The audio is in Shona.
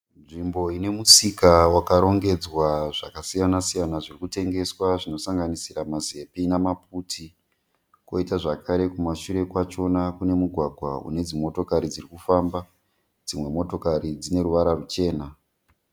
Nzvimbo ine musika wakarongedzwa zvakasiyana siyana zviri kutengeswa zvinosanganisira mazepi namaputi. Koita zvakare kumashure kwachona kune mugwagwa une dzimotokari dziri kufamba. Dzimwe motokari dzine ruvara ruchena